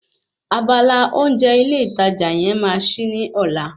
Abala oúnjẹ ilé ìtajà yẹn máa ṣí ní ọ̀la